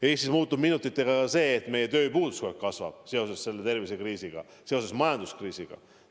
Eestis muutub minutitega ka see, et meie tööpuudus kogu aeg kasvab seoses selle tervisekriisiga, seoses majanduskriisiga.